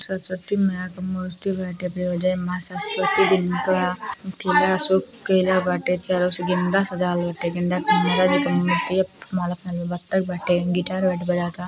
सरस्वती मैया की मूर्ति बाटे। माँ सरस्वती जिनका किला बाटे। गेंदा सजावल बाटे। गेंदा क माला माला पहिनले बा। बत्तख बा। गिटार बाटे। बजाव ता।